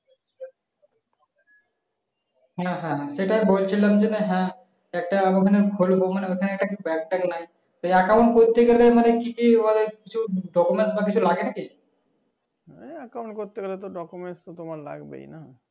হ্যাঁ হ্যাঁ সেটাই বলছিলাম যে হ্যাঁ একটা মানে খুলে দেব ওখানে আর কি bank ট্যাঙ্ক নাই এই acount করতে গেলে মানে কি কি মানে কিছু document বা কিছু লাগে নাকি